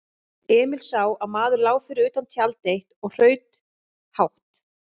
Emil sá að maður lá fyrir utan tjald eitt og hraut hátt.